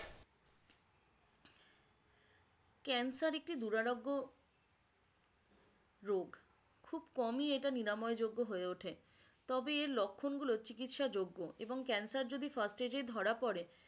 cancer একটি দুরারোগ্য রোগ খুব কমই এটা নিরাময় যোগ্য হয়ে ওঠে তবে এর লক্ষণগুলো চিকিৎসা যোগ্য এবং cancer যদি first stage এ ধরা পরে